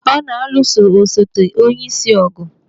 Ọ na-alụso osote onyeisi ọgụ.